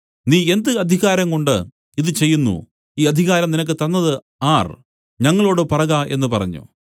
നീ എന്ത് അധികാരംകൊണ്ട് ഇതു ചെയ്യുന്നു ഈ അധികാരം നിനക്ക് തന്നതു ആർ ഞങ്ങളോടു പറക എന്നു പറഞ്ഞു